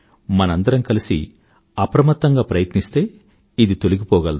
మనందరం కలిసి అప్రమత్తంగా ప్రయత్నిస్తే ఇది తొలగిపోగలదు